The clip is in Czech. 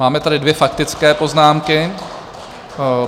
Máme tady dvě faktické poznámky.